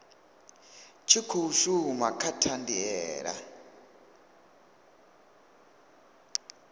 tshi khou shuma kha thandela